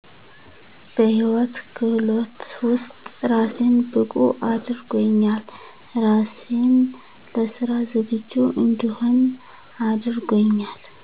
በህይወት ክህሎት ውስጥ ራሴን ብቁ አድርጎኛል ራሴን ለስራ ዝግጁ እንድሆን አድርጎኛል